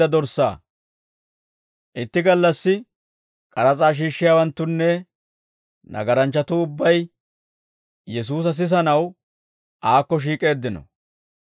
Itti gallassi, k'aras'aa shiishshiyaawanttunne nagaranchchatuu ubbay Yesuusa sisanaw aakko shiik'eeddino.